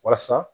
Walasa